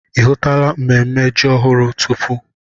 Ị hụtula ememme ji ọhụrụ tupu?